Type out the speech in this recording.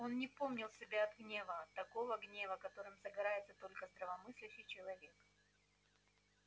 он не помнил себя от гнева от такого гнева которым загорается только здравомыслящий человек